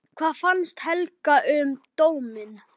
Hvað fannst Helga um dóminn?